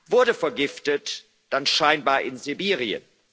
Wurde vergiftet, dann scheinbar in Sibirien.